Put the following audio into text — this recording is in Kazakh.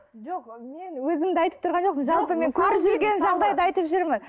жоқ мен өзімді айтып тұрған жоқпын жалпы мен көріп жүрген жағдайды айтып жүрмін